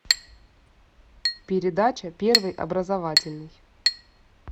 передача первый образовательный